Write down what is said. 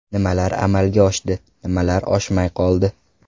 Nimalar amalga oshdi, nimalar oshmay qoldi?